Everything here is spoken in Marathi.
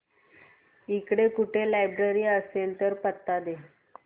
इकडे कुठे लायब्रेरी असेल तर पत्ता दे